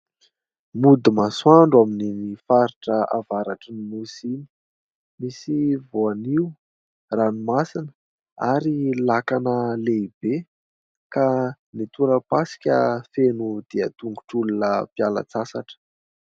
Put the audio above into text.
Mody masoandro amin'iny faritra avaratry ny nosy iny. Misy voanio, ranomasina ary lakana lehibe. Ka ny tora-pasika feno dian-tongotr'olona mpiala sasatra.